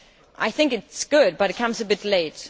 I think it is good but it comes a bit late.